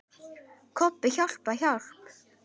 Kobbi, hjálp, hjálp.